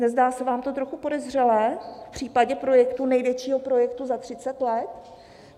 Nezdá se vám to trochu podezřelé v případě projektu, největšího projektu za 30 let?